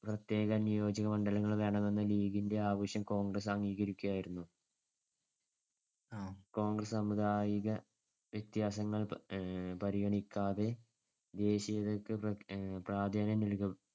പ്രത്യേക നിയോജമണ്ഡലങ്ങൾ വേണമെന്ന ലീഗിന്‍ടെ ആവശ്യം കോൺഗ്രസ്സ് അംഗീകരിക്കുകയായിരുന്നു. കോൺഗ്രസ്സ് സാമുദായിക വ്യത്യാസങ്ങൾ അഹ് പരിഗണിക്കാതെ ദേശീയതക്ക് പ്രാധാന്യം നല്‍കി